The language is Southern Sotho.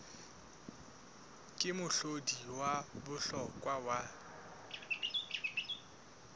ke mohlodi wa bohlokwa wa